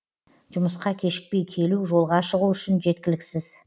жұмысқа кешікпей келу жолға шығу үшін жеткіліксіз